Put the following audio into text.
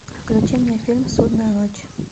включи мне фильм судная ночь